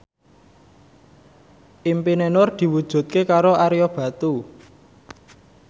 impine Nur diwujudke karo Ario Batu